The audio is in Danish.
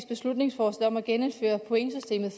beslutningsforslag om at genindføre pointsystemet